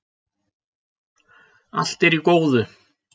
Allt er í góðu